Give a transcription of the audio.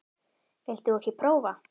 Vilt þú ekki prófa?